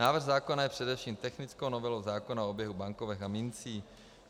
Návrh zákona je především technickou novelou zákona o oběhu bankovek a mincí.